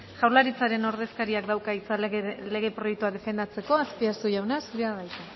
jaurlaritzaren ordezkariak dauka hitza lege proiektua defendatzeko azpiazu jauna zurea da hitza